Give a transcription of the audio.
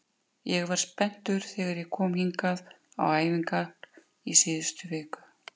Ég var spenntur þegar ég kom hingað á æfingar í síðustu viku.